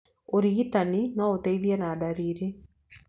Ũrigitani no ũteithie na ndariri.